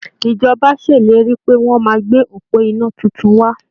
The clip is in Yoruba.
Ìjọba ṣèlérí pé wọ́n máa gbé òpó iná tuntun wá.